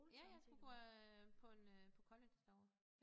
Ja jeg skulle gå øh på en øh på college derovre